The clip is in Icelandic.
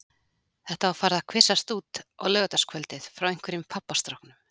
Þetta var farið að kvisast út á laugardagskvöldið frá einhverjum pabbastráknum.